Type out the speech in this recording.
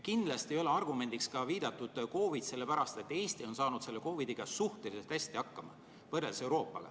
Kindlasti ei ole argumendiks ka viidatud COVID, sellepärast et Eesti on saanud võrreldes Euroopaga selle COVID-iga suhteliselt hästi hakkama.